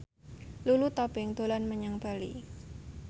Lulu Tobing dolan menyang Bali